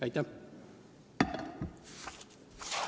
Aitäh!